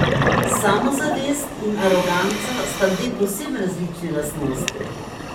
Samozavest in aroganca sta dve povsem različni lastnosti.